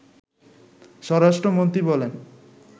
স্বরাষ্ট্রমন্ত্রী বলেন